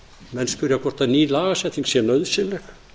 menn spyrja hvort ný lagasetning sé nauðsynleg